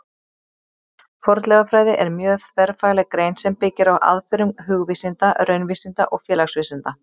Fornleifafræði er mjög þverfagleg grein sem byggir á aðferðum hugvísinda, raunvísinda og félagsvísinda.